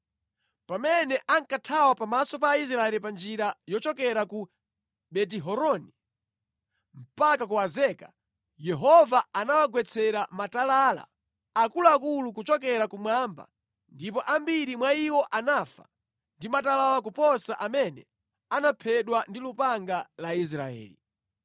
Pamene ankathawa pamaso pa Israeli pa njira yochokera ku Beti-Horoni mpaka ku Azeka, Yehova anawagwetsera matalala akuluakulu kuchokera kumwamba ndipo ambiri mwa iwo anafa ndi matalala kuposa amene anaphedwa ndi lupanga la Israeli.